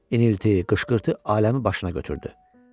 İnilti, qışqırtı aləmi başına götürdü.